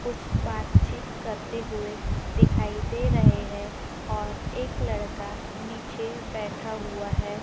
कुछ बातचीत करते हुएं दिखाई दे रहें हैं और एक लड़का नीचे बैठा हुआ हैं।